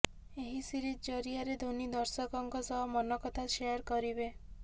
ଏହି ସିରିଜ୍ ଜରିଆରେ ଧୋନୀ ଦର୍ଶକଙ୍କ ସହ ମନକଥା ସେୟାର କରିବେ